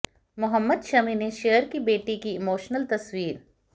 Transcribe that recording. मोहम्मद शमी ने शेयर की बेटी की इमोशनल तस्वीर